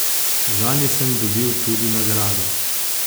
Zanje sem dobil tudi nagrade.